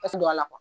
A tɛ don a la kuwa